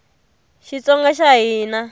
xitsonga xa hina